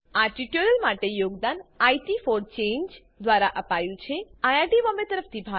આ ટ્યુટોરીયલ માટે યોગદાન ઇટ ફોર ચાંગે દ્વારા અપાયું છે અમને જોડાવાબદ્દલ આભાર